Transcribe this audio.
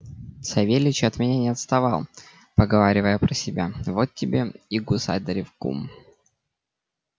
савельич от меня не отставал поговаривая про себя вот тебе и государев кум